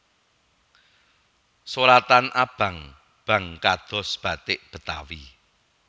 Soratan abang bang kados bathik Betawi